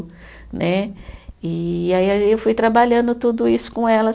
Né, e aí a eu fui trabalhando tudo isso com elas.